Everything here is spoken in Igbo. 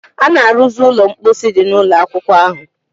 A na-arụzi ụlọ mposi dị n'ụlọ akwụkwọ ahụ